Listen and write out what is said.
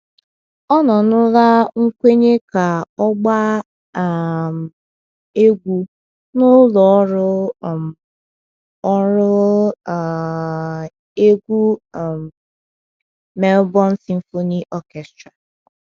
Ọnụnọla nkwenye ka ọ gbaa um egwu n’ụlọ ọrụ um ọrụ um egwu um Melbourne Symphony Orchestra.